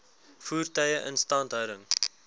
voertuie instandhouding